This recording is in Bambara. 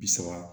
Bi saba